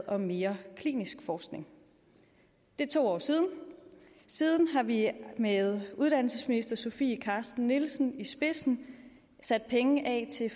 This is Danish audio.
om mere klinisk forskning det er to år siden og siden har vi med uddannelsesminister sofie carsten nielsen i spidsen sat penge af til